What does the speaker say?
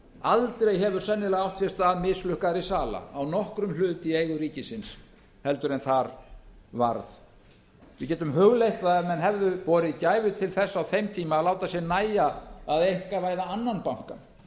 aldrei hefur sennilega átt sér stað mislukkaðri sala á nokkrum hlut í eigu ríkisins heldur en þar varð við getum hugleitt það ef menn hefðu borið gæfu til þess á þeim tíma að láta sér nægja að einkavæða annan bankann